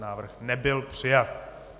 Návrh nebyl přijat.